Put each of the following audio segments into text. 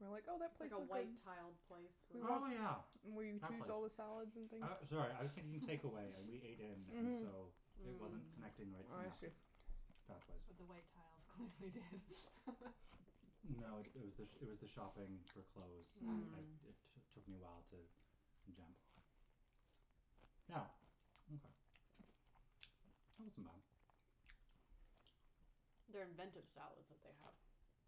we were like, "Oh, that It's place like a looks like" white-tiled place We with Oh went yeah, Where you that choose place. all the salads and things. I, sorry, I was thinking takeaway and we ate in and Mhm. so it wasn't connecting the right I see. synaptic pathways. But the white tiles clearly did. No, it was the, it was the shopping for clothes. I, I, it t- took me a while to jump. Yeah, okay. That wasn't bad. They're inventive salads that they have.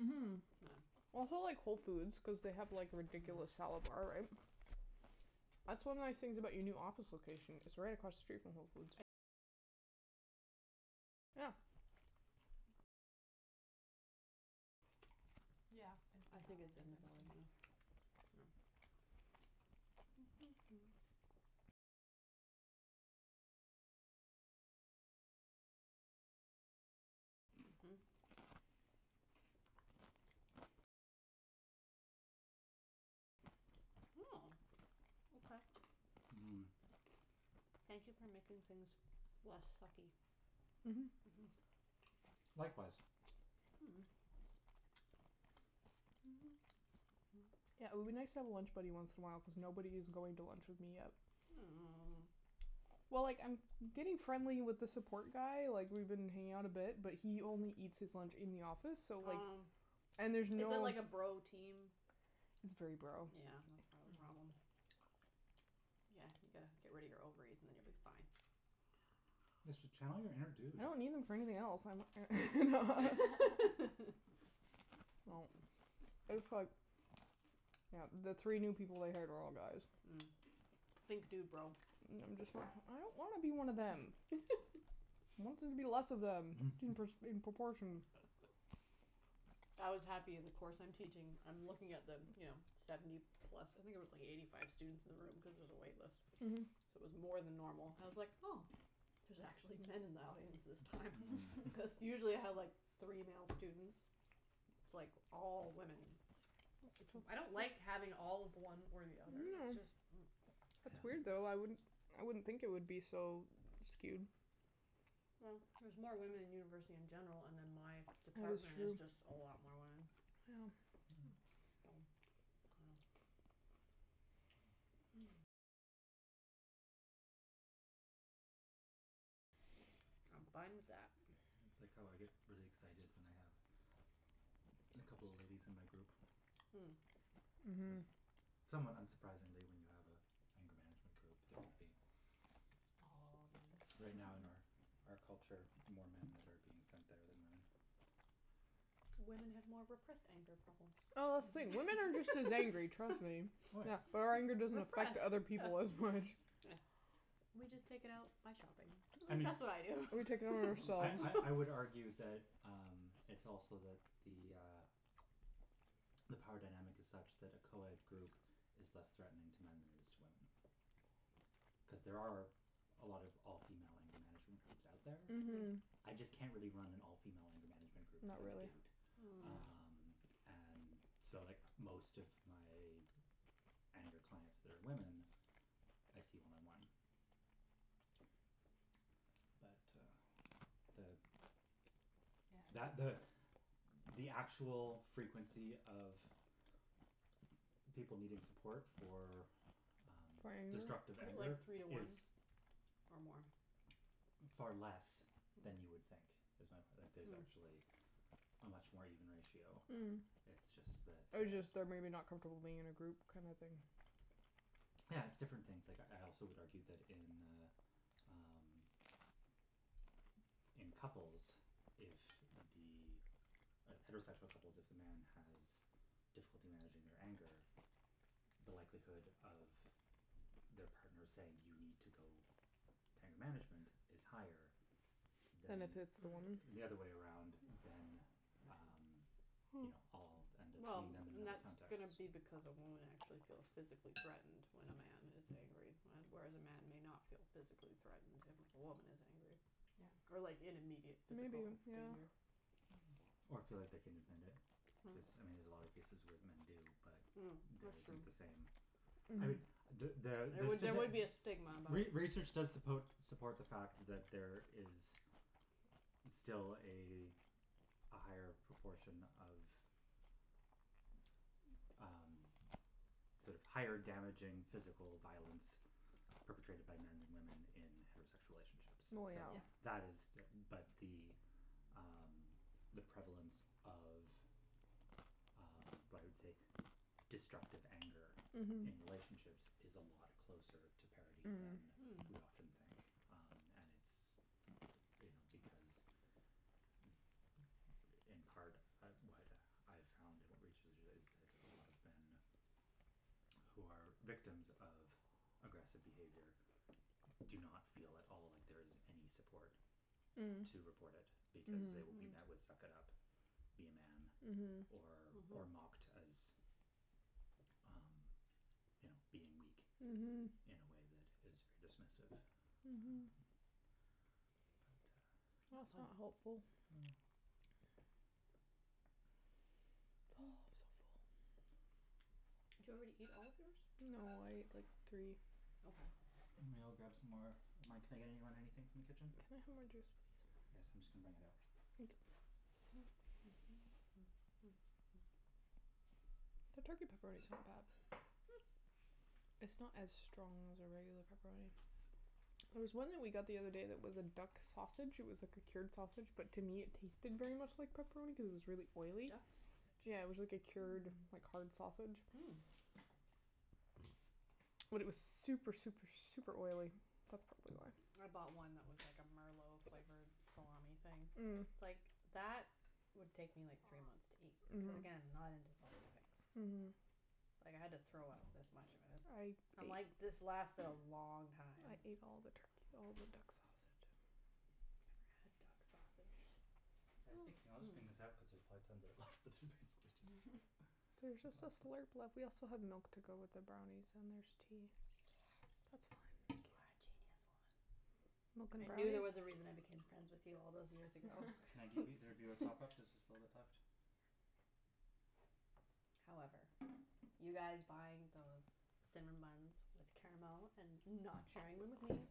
Mhm. Yeah. That's why I like Whole Foods cuz they have like a ridiculous salad bar, right? That's one of the nice things about your new office location, it's right across the street from Whole Foods. Yeah. Yeah, I think it's in the building, yeah. Mhm. Oh, okay. Mhm. Thank you for making things less sucky. Mhm, Mhm. Likewise. Yeah, it would be nice to have a lunch buddy once in a while cuz nobody is going to lunch with me yet. Oh. Well, like, I'm getting friendly with the support guy, like, we've been hanging out a bit, but he only eats his lunch in the office so, like. Oh. And there's no. Is it like a bro team? It's very bro. That's part Yeah. of the problem. Yeah, you gotta get rid of your ovaries and then you'll be fine. Just tell them you're a dude. I don't need them for anything else. No, it's like. Yeah. the three new people they hired are all guys. Mm. Think dudebro. And I'm just, like, I don't wanna be one of them. I want there to be less of them in in proportion. I was happy. The course I'm teaching, I'm looking at the, you know, seventy plus. I think there was like eighty five students in the room cuz there's a wait list, so Mhm. it was more than normal. I was like oh, there's actually men in the audience this time. Because usually I have like three male students, it's like all women. I don't like having all of one or the other. It's just. No. It's It's weird, weird, though. though. I wouldn't I wouldn't think it would be so skewed. Well, there's more women in university in general, and then my department is just a lot more women. Yeah. I'm fine with that. It's like how I get really excited when I have a couple of ladies in my group. Cuz Mhm. somewhat unsurprisingly when you have an anger management group, there would be. All men. Right now in our out culture, more men that are being sent there than women. Women have more repressed anger problems. Oh, wait, women are just as angry, trust me. Yeah, but our anger doesn't affect Repressed, other people as much. yes. We just take it out by shopping, at least that's what I do. We take it out on I I I would ourselves. argue that um it's also that the uh the power dynamic is such that a co-ed group is less threatening to men than it is to women. Cuz there are a lot of all female anger management groups out there. Mhm. I just can't really run an all female anger management group cuz I'm a dude. Oh. Um, and so, like, most of my anger clients that are women, I see one on one. But uh the. That Yeah. the the actual frequency of people needing support for um For anger? Is destructive it anger like three to is. one or more? Far less than you would think. Is my point, like there's actually a much more even ratio. Mm. It's just that Or uh. just they're maybe not comfortable being in a group kind of thing. Yeah, it's different things. Like, I also would argue that in uh um in couples, if the heterosexual couples, if the man has difficulty managing their anger, the likelihood of their partner saying, "You need to go to anger management," is higher Than if than. it's the woman? The other way around than um, you know, I'll end up Well, seeing them in and that that's context. going to be because a woman actually feels physically threatened when a man is angry, whereas a man may not feel physically threatened if a woman is angry. Yeah. Or like in immediate Maybe, physical yeah. danger. Or feel like they can admit it cuz, I mean, there's a lot of cases where men do, but that isn't the same. No. I mean. There there would be a stigma involved. Re research does suppo support the fact that there is still a a higher proportion of um sort of higher damaging physical violence perpetrated my men than women in heterosexual relationships. So Well, yeah. that is but the um the prevalence of um what I would say destructive anger in relationships is a lot closer to parity than Mhm. we often think. Mm. And it's, you know, because in part, what I found in research is that a lot of men who are victims of aggressive behavior do not feel at all like there is any support to report it because they will be met with "suck it up", "be a man" or or mocked as um you know being weak in a way that is very dismissive. Mhm. But uh. That's not helpful. Oh, I'm so full. Did you already eat all of yours? No, I ate like three. Okay. I'm going to go grab some more of mine. Can I get anybody anything from the Can kitchen? I have more juice, please? Yes, I'm just going to bring it out. Thank you. The turkey pepperoni's not bad. Mm. It's not as strong as a regular pepperoni. There was one that we got the other day that was a duck sausage, it was like a cured sausage, but to me it tasted very much like pepperoni cuz it was really oily. Duck Yeah, it was sausage? like a cured Mm. like hard sausage. Mm. But it was super, super, super oily. That's probably why. I bought one that was like a merlot flavored salami thing. Mm. It's like that would take me like three months to eat cuz again, not into salty things. Mm. Like, I had to throw out this much of it. I'm I like ate. this lasted a long time. I ate all the turkey, all the duck sausage. I never had duck sausage. I was thinking I'll just bring this out cuz there's probably tons of it left, but there's basically There's just a just a glass left. slurp left. We also have milk to go with the brownies, and there's tea. That's Yes. fine. You are a genius, woman. Mocha and I knew there brownies. was a reason I became friends with you all those years ago. Can I give either of you a top up? There's just a bit left. However, you guys buying those cinnamon buns with caramel and not sharing them with me.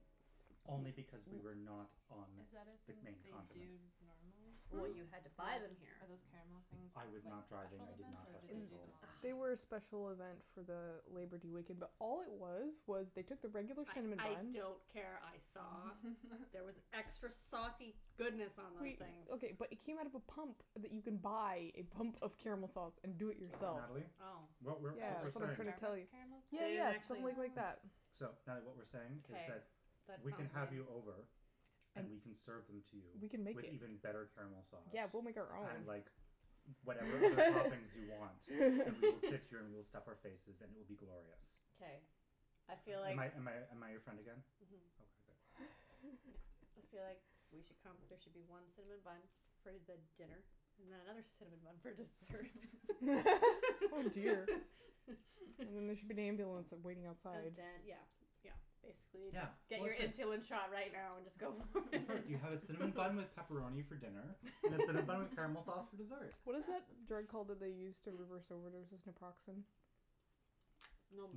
Only because we were not on Is that a the thing that main they do continent. normally? Well, you had to Like, buy them are here. those caramel things I like a was not driving. special I did event not or have do they do them control. all the They were a time? special event for the Labour Day weekend, but all it was was they took the regular cinnamon I buns. don't care, I saw. There was extra saucy goodness on those Wait, things. okay, but it came out of a pump that you can buy, a pump of caramel sauce, and do it yourself. Natalie, Oh, what we're Oh, what we're like saying. really? Starbucks caramel Yeah, style? They didn't yeah, just actually. like that. So, Natalie, what we're saying is Okay, that that sounds we can have you right. over. And we can serve them to you. We can make With them. even better caramel sauce. Yeah, we'll make our And own. like whatever other toppings you want and we will sit here and we'll stuff our faces and it will be glorious. Okay, I feel Am like. I am I am I your friend again? Mhm. Okay, good. I feel like we should come, there should be one cinnamon bun for the dinner and then another cinnamon bun for dessert. Oh dear. There should be an ambulance waiting outside. And then, yeah, yeah, basically Yeah, just. Get well, your it's good. insulin shot right now and just go for it. You have a cinnamon bun with pepperoni for dinner and a cinnamon bun with caramel sauce for dessert. What is the drug called that they use to reverse overdoses? Naproxen?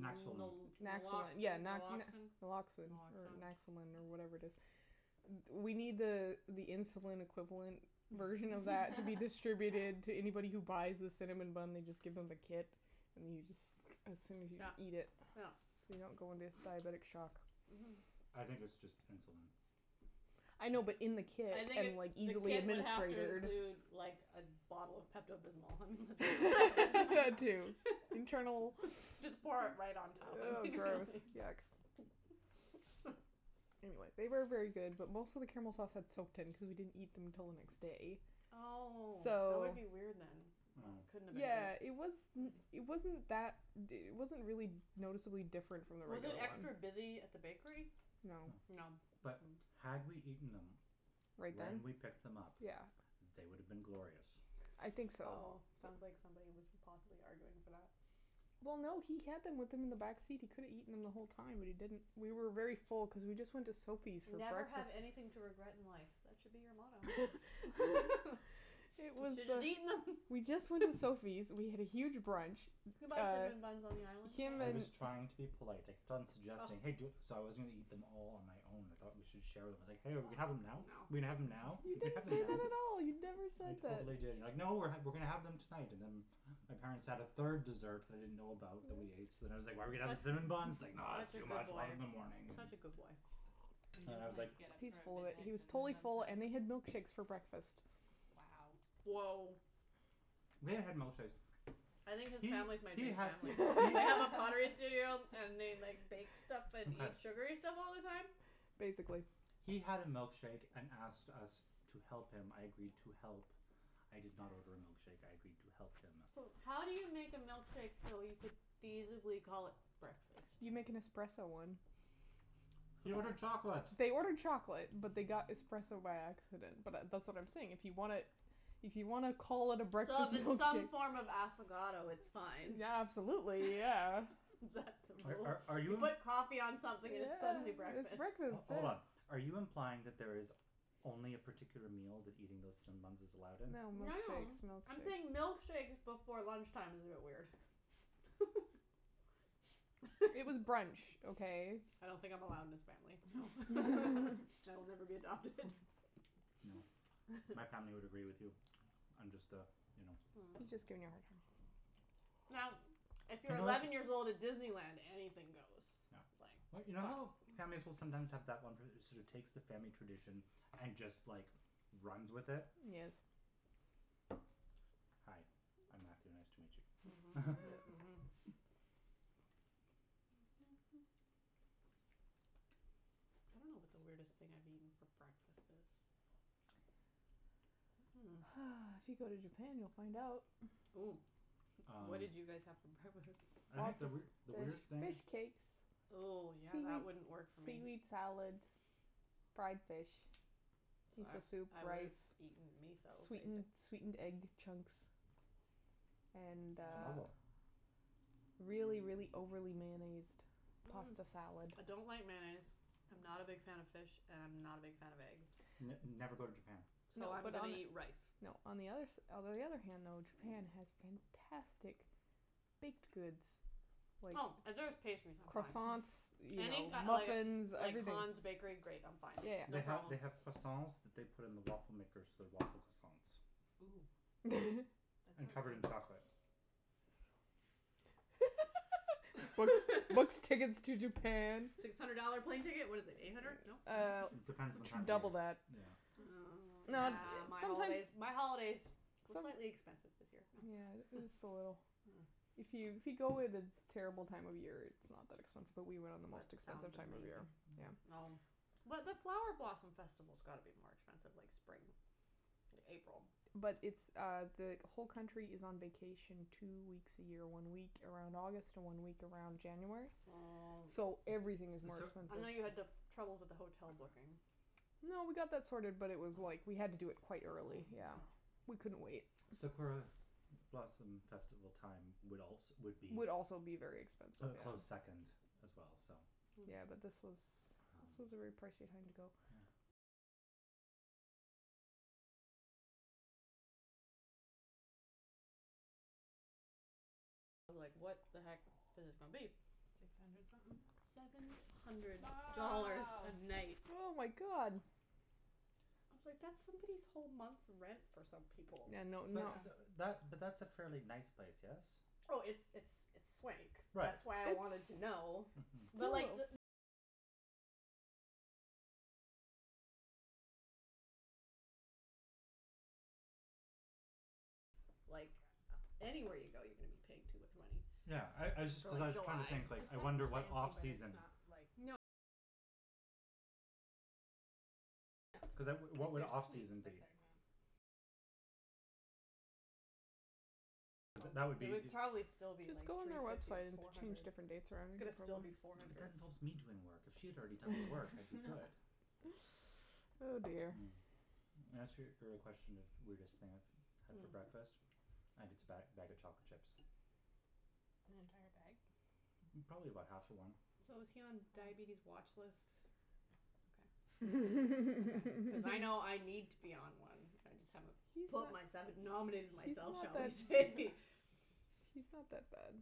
Naxolone. Naxalone, yeah. yeah, Naloxin, Naloxin. Naloxin or Naxolin or whatever it is. We need the uh the insulin equivalent version of that to be distributed to anybody who buys the cinnamon bun. They just give them the kit and you just assume you Yeah, eat it. yeah. So you don't go into diabetic shock. Mhm. I think it's just insulin. I know, but in the kit I think and, like, the easily kit would have to administered. include like a bottle of Pepto Bismol. Too. Internal. Just pour it right on top. Oh, gross, yuck. Anyway, they were very good, but most of the caramel sauce had soaked in cuz we didn't eat them until the next day. Oh, that would So.Yeah, be it was. weird then. It wasn't that, it wasn't really noticeably different from the Was regular it one. extra busy at the bakery? No. No, but had we eaten them. Right When then? we picked them up. Yeah. They would have been glorious. I think so. Oh, sounds like somebody was possibly arguing for that. Well, no, he had them with him in the back seat. He could've eaten them the whole time, but he didn't. We were very full because we just went to Sophie's for Never have breakfast. anything to regret in life, that should be your motto. You should have just eaten them. We just went to Sophie's. We had a huge brunch. You can buy cinnamon buns on the island, can't I you? was trying to be polite. I kept on suggesting hey do- So I was going to eat them all on my own. I thought we should share them. I was like, hey, are we going to have them now? Are we going to have them now? You didn't say that at all. You never I said that. totally did you were like, no, we're going to have them tonight. And then my parents had a third dessert that I didn't know about that we ate, so then I was like, are we going to have the cinnamon buns? It's Such a like, no, it's too good much, we'll have them in the boy, morning. such a good boy. You didn't get up He's for a full of it. He midnight was totally cinnamon full, bun and we had snack? milkshakes for breakfast. Wow. Woah. We had milkshakes. I think his family's my new family. They have a pottery studio and they like bake stuff and eat sugary stuff all the time? Basically. He had a milkshake and asked us to help him, I agreed to help. I did not order a milkshake, I agreed to help him. So, how do you make a milkshake so you could feasibly call it breakfast? You make an espresso one. He ordered chocolate. They ordered chocolate, but they got espresso by accident. But that's what I'm saying. If you want to, if you want to call it a So breakfast if it's some milkshake. form of affogato, it's fine. Yeah, absolutely, yeah. Are are You you? put coffee on something and it's suddenly Yeah, it's breakfast. breakfast, Hold on, yeah. are you implying that there is only a particular meal that eating those cinnamon buns is allowed in? No, No, no, milkshakes, I'm saying milkshakes. milkshakes before lunch time is a bit weird. It was brunch, okay? I don't think I'm allowed in this family. So I'll never be adopted. No. My family would agree with you. I'm just the, you know. I'm just giving you a hard time. Now, if you're eleven years old at Disneyland, anything goes. Yeah. Like. But you know how families will sometimes have that one person who sort of takes the family tradition and just, like, runs with it. Yes. Hi, I'm Matthew. Nice to meet you. Mhm, Mhm, Mhm. I don't know what the weirdest thing I've eaten for breakfast is. If you go to Japan, you'll find out. Oh, what did you guys have for breakfast? I think the weird the There's weirdest thing. fish cakes. Oh, yeah, that wouldn't Seaweed work for seaweed me. salad, fried fish, I miso soup, I would rice. have eaten miso, Sweetened sweetened egg basically. chunks and uh. Tomago. Really, really overly mayonnaised pasta salad. I don't like mayonnaise, I'm not a big fan of fish and I'm not a big fan of eggs. N never go to Japan. So I'm going to eat rice. No, on the other s- Although, on the other hand though, Japan has fantastic baked goods. Oh, if there's pastries, I'm fine. Croissants, you know, Any muffins, like everything. Hans bakery, great, I'm fine. They have, they have croissants that they put in the waffle makers so they're waffle croissants. Ooh. And covered in chocolate. What's what's tickets to Japan? Six hundred dollar plane ticket. What is it, eight hundred? No? Uh, It depends on the time double of that. year. Yeah. Oh, yeah, my holidays, my holidays were slightly expensive this year. Yeah, just a little. If you if you go at a terrible time of year, it's not that expensive, but we went on the most That expensive sounds time of the year. amazing. Well. But the flower blossom festival's got to be more expensive, like, spring, April. But it's uh the whole country is on vacation two weeks a year, one week around August, one week around January. Oh. So everything is more I know you had expensive. trouble with the hotel booking. No, we got that sorted, but it was like we had to do it quite early, yeah, we couldn't wait. Sakura blossom festival time would also would be. Would also be very expensive. A close second as well, so. Yeah, but this was this was a very pricey time to go. I was like, what the heck is this going to be? Six hundred something? Seven hundred Wow, dollars a night. oh, my God. I was like, that's somebody's whole month rent for some people. Yeah, no. But that but that's a fairly nice place, yes? Oh, it's it's it's swank. Right, That's why I wanted to know. Mhm. Like, anywhere you go, you're going to be paying too much money. Yeah, I I just cuz I was trying to think, like, It sounds I fancy wonder what off but it's season. not, like. Like, there's suites, but they're not. Cuz that would be. It would probably still be Just like go on three their fifty, website and four change hundred. different dates around. But that involves me doing work. If she had already done the work, I'd be good. Oh, dear. Mm. In answer your question of weirdest thing I've had for breakfast, I think it's a bag bag of chocolate chips. An entire bag? Probably about half of one. So is he on diabetes watch lists? Okay. Cuz I know I need to be on one. I just haven't put myself, He's not nominated that- He's myself, not shall we that say. he's not that bad.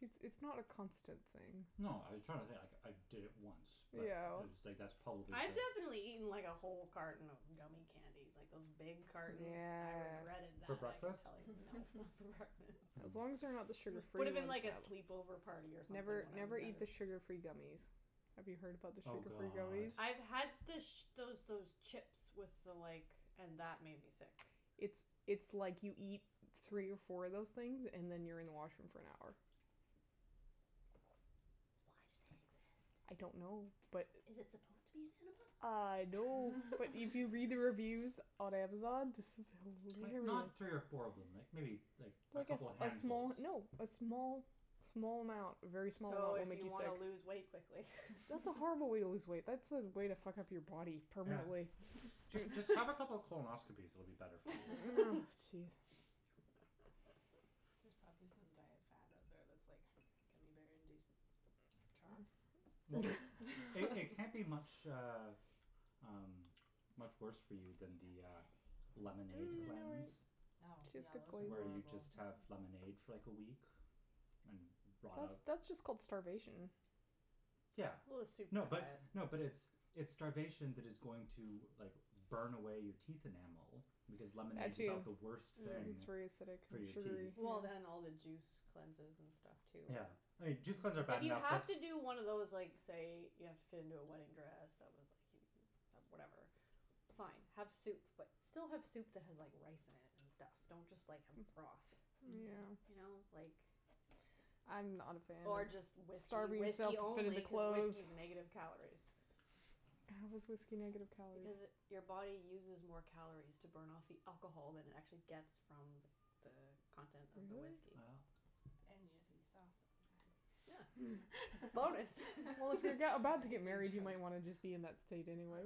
It's it's not a constant thing. No, I was trying to think. Like, I did it once, but it Ew. was like that's probably I've it. definitely eaten, like, a whole carton of gummie candies, like those big cartons. I Yeah. regretted For that, I can breakfast? tell you. No, not for breakfast. As long as they're not the It sugar free would have ones, been like a though. sleepover party or something Never, when I was never eat the younger. sugar free gummies. Have you heard about the Oh, sugar free god. gummies? I've had the those those chips with the like and that made me sick. It's it's like you eat three or four of those things and then you're in the washroom for an hour. Why do I they exist? don't know, but. Is it supposed to be an enema? I know, but if you read the reviews on Amazon. Like, I'm not curious. three or four of them, like like maybe a Like a couple of small. handfuls. No, a small, small amount, a very small amount So will if make you you want sick. to lose weight quickly. That's a horrible way to lose weight. That's a way to fuck up your body Yeah. permanently. Just have a couple of colonoscopies, it'll be better for you. Jeez. There's probably some diet fad out there that's like gummie bear induced trots. Well, they can't be much uh um much worse for you than the uh lemonade cleanse. Oh, Where yeah, you those just have are horrible. lemonade for like a week and rot out. That's just called starvation. Yeah. Well, a soup No but, diet. no, but it's it's starvation that is going to like burn away your teeth enamel because lemonade's about the worst thing It's very acidic for and your teeth. sugary. Well, and all the juice cleanses and stuff too. Yeah, juice cleanses are bad If you enough have but. to do one of those like say you have to fit into a wedding dress that was like whatever, fine, have soup, but still have soup that has rice in it and stuff. Don't just like have a broth. Yeah. You know, like. I'm not a fan Or of just whiskey, starving myself whiskey to fit only into because clothes. whiskey is negative calories. How is whiskey negative calories? Because it your body uses more calories to burn off the alcohol than it actually gets from the the content of the Really? whiskey. Yeah. And you get to be sauced all the time. Yeah. Bonus. Well, if you're about to get married, you might want to just be in that state anyway.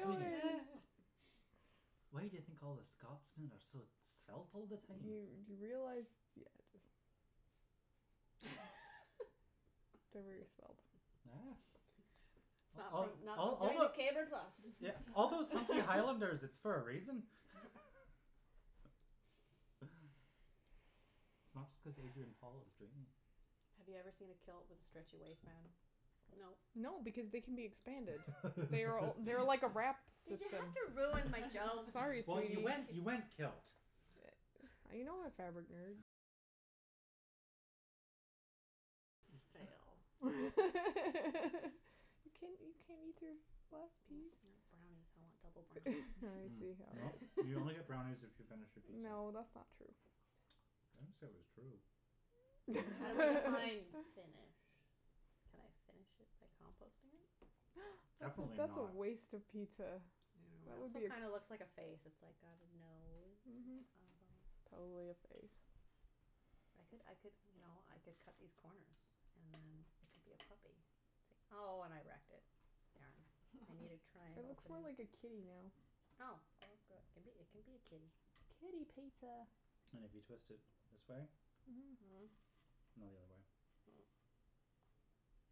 Sweetie. Why do you think all the Scotsmen are so svelt all the Do time? you realize, yeah, just They're very svelt. It's not it's not like a caber toss. Yeah, all those hunky highlanders, it's for a reason. It's not just cuz Adrian Paul is dreamy. Have you ever seen a kilt with a stretchy waistband? No. No, because they can be expanded. They're they're like a wrap Did you system. have to ruin my joke? Sorry, Well, sweetie. you went you went kilt. I know, fabric nerd. It's a fail. You can't you can't eat your last No. piece? Brownies, I want double brownies. Well, you only get brownies if you finish your pizza. No, that's not true. I didn't say it was true. Well, define finish. Can I finish it by composting it? That's a Definitely that's a not. waste of pizza. It That would be also a. kind of looks like a face. It's like got a nose. Mhm. Totally a face. I could I could, you know, I could cut these corners and then it could be a puppy. See? Oh, and I wrecked it. Darn. I need a It triangle. looks more like a kitty now. Oh, well, good. It can it can be a kitty. Kitty pizza. And if you twist it this way. Mhm. Mhm. No, the other way.